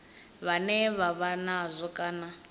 vhane vha vha nazwo kana